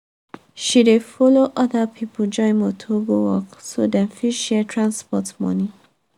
she dey follow other people join motor go work so dem fit share transport money.